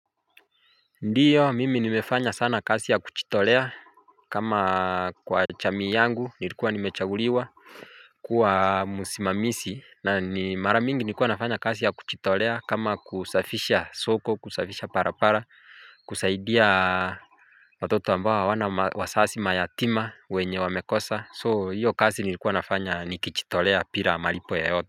Ndiyo mimi nimefanya sana kazi ya kujiitolea kama kwa jamii yangu nilikuwa nimechaguliwa kuwa msimamizi na mara mingi nilikua nafanya kazi ya kujiitolea kama kusafisha soko kusafisha barabara kusaidia watoto ambao hawana wazazi mayatima wenye wamekosa, so hiyo kazi nilikuwa nafanya nikijitolea bila malipo yoyote.